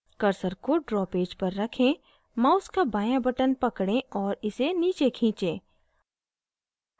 cursor को draw page पर रखें mouse का बाँया button पकड़ें और इसे नीचे खींचें